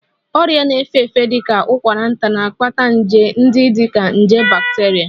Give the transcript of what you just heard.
Ọrịa na-efe efe dị ka ụkwara nta na-akpata nje ndị dị ka nje bacteria